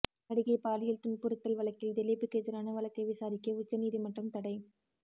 நடிகை பாலியல் துன்புறுத்தல் வழக்கில் திலீப்புக்கு எதிரான வழக்கை விசாரிக்க உச்ச நீதிமன்றம் தடை